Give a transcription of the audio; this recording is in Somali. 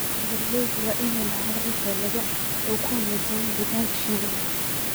Beeralayda waa inay lahaadaan xeelado ay ku wanaajiyaan deegaanka shinnida